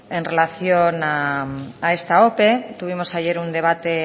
en relación a esta ope tuvimos ayer un debate